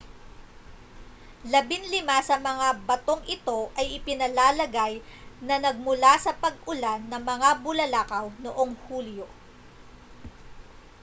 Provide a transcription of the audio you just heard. labinlima sa mga batong ito ay ipinalalagay na nagmula sa pag-ulan ng mga bulalakaw noong hulyo